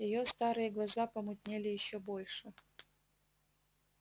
её старые глаза помутнели ещё больше